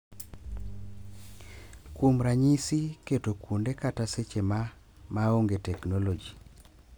Kuom ranyisi, keto kuonde kata seche ma "ma onge teknoloji",